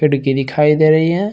खिड़की दिखाई दे रही है।